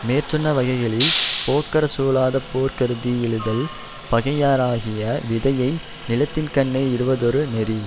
மேற்சொன்னவகைகளில் போக்கறச் சூழாதே போர்கருதி யெழுதல் பகைஞராகிய விதையை நிலத்தின்கண்ணே இடுவதொரு நெறி